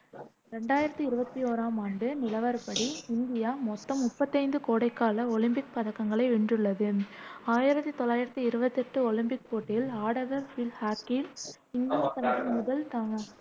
ரெண்டாயிரத்தி இருவத்தி ஓராம் ஆண்டு நிலவரப்படி, இந்தியா மொத்தம் முப்பத்து ஐந்து கோடைகால ஒலிம்பிக் பதக்கங்களை வென்றுள்ளது ஆயிரத்தி தொள்ளாயிரத்தி இருவத்தி எட்டு ஒலிம்பிக் போட்டியில் ஆடவர் பீல்ட் ஹாக்கியில் இந்தியா தனது முதல் தங்